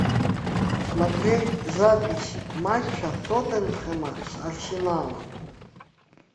смотреть запись матча тоттенхэма с арсеналом